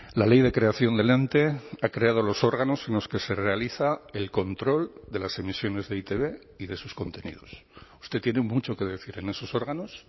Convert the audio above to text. la ley de creación del ente ha creado los órganos en los que se realiza el control de las emisiones de e i te be y de sus contenidos usted tiene mucho que decir en esos órganos